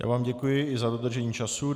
Já vám děkuji i za dodržení času.